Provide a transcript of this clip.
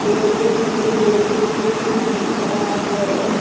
पेड़ के पीछे सूरज भी दिख रहा है और--